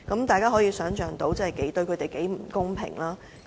大家可以想象，這對他們很不公平。